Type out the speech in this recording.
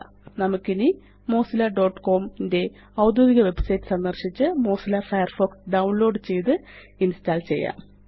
000332 000310 നമുക്ക് ഇനി mozillaകോം ന്റെ ഔദ്യോഗിക വെബ്സൈറ്റ് സന്ദര്ശിച്ച് മൊസില്ല ഫയർഫോക്സ് ഡൌൺലോഡ് ചെയ്ത് ഇന്സ്റ്റാള് ചെയ്യാം